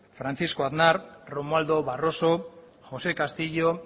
francisco aznar romualdo barroso josé castillo